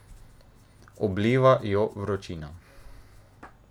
Obliva jo vročina.